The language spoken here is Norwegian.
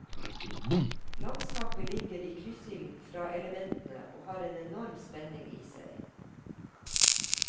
Landskapet ligger i kryssilden fra elementene og har en enorm spenning i seg.